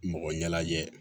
Mɔgɔ ɲɛnajɛ